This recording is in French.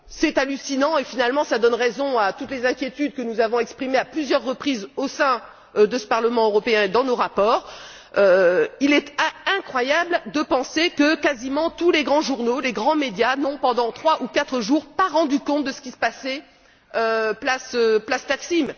C'est hallucinant et, finalement, cela donne raison à toutes les inquiétudes que nous avons exprimées, à plusieurs reprises, au sein de ce Parlement européen et dans nos rapports. Il est incroyable de penser que, quasiment, tous les grands journaux, les grands médias n'ont, pendant trois ou quatre jours, pas rendu compte de ce qui se passait place Taksim.